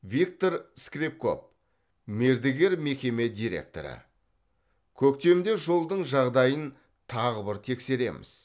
виктор скрепков мердігер мекеме директоры көктемде жолдың жағдайын тағы бір тексереміз